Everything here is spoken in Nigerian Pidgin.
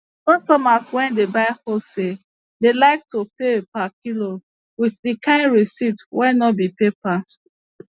customers wey dey buy wholesale dey like to pay per kilo with di kain receipt wey no be paper